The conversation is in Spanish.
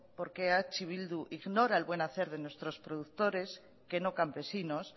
porque eh bildu ignora el buen hacer de nuestros productores que no campesinos